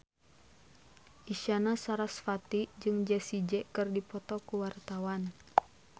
Isyana Sarasvati jeung Jessie J keur dipoto ku wartawan